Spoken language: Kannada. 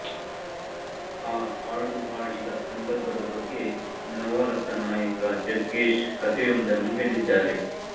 ಆ ಹಾಡು ಹಾಡಿದ ಸಂದರ್ಭದ ಬಗ್ಗೆ ನವರಸನಾಯಕ ಜಗ್ಗೇಶ್ ಕತೆಯೊಂದನ್ನು ಹೇಳಿದ್ದಾರೆ